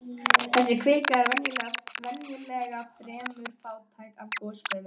Þessi kvika er venjulega fremur fátæk af gosgufum.